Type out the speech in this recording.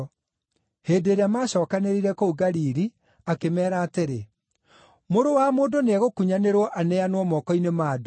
Hĩndĩ ĩrĩa macookanĩrĩire kũu Galili, akĩmeera atĩrĩ, “Mũrũ wa Mũndũ nĩegũkunyanĩrwo aneanwo moko-inĩ ma andũ.